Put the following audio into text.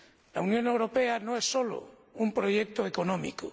La Unión Europea no es solo un proyecto económico.